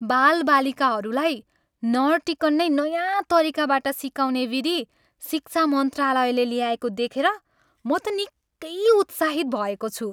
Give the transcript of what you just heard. बालबालिकाहरूलाई नरटिकन नै नयाँ तरिकाबाट सिकाउने विधि शिक्षा मन्त्रालयले ल्याएको देखेर म त निकै उत्साहित भएको छु।